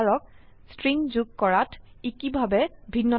string যোগ কৰাত ই কিভাবে ভিন্নতা হয়